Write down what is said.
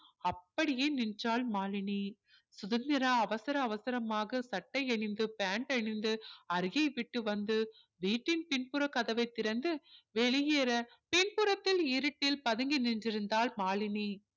அப்படியே நின்றாள் மாலினி சுதந்திரா அவசர அவசரமாக சட்டை அணிந்து pant அணிந்து அருகே விட்டு வந்து வீட்டின் பினப்புற கதவை திறந்து வெளியேற பின்ப்புறத்தில் இருட்டில் பதுங்கி நின்றிருந்தாள் மாலினி